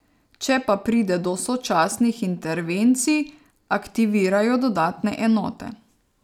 Če pa pride do sočasnih intervencij, aktivirajo dodatne enote.